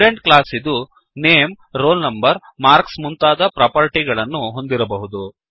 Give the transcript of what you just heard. student ಕ್ಲಾಸ್ಇದು name roll number marks ಮೊದಲಾದ property ಗಳನ್ನು ಹೊಂದಿರಬಹುದು